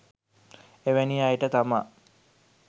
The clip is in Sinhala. එවැනි අයට තමා